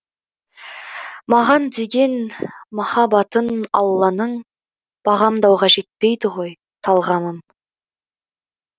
маған деген махаббатын алланың бағамдауға жетпейді ғой талғамым